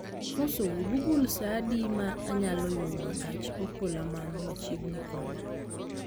Amosou google saa adi ma anyalo yudo gach okoloman machiegni koda